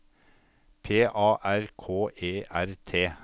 P A R K E R T